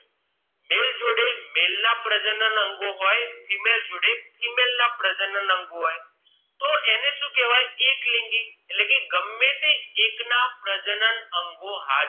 Male જોડે male ના પ્રજનન અંગોહોય female જોડે female ના પ્રજનન અંગો હોય છે તો એને શું કહેવાય એટલે કે એકલિંગી એટલે કે ગમે એક ના પ્રજનન અંગો હાજર હોય